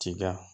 Tiga